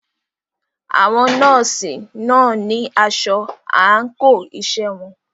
Àwọn nọ́ọ̀sì náà ní asọ àńkò iṣẹ́ wọn.